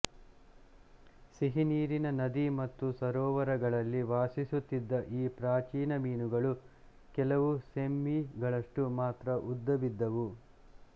ಸಿಹಿನೀರಿನ ನದಿ ಮತ್ತು ಸರೋವರಗಳಲ್ಲಿ ವಾಸಿಸುತ್ತಿದ್ದ ಈ ಪ್ರಾಚೀನ ಮೀನುಗಳು ಕೆಲವು ಸೆಂಮೀ ಗಳಷ್ಟು ಮಾತ್ರ ಉದ್ದವಿದ್ದವು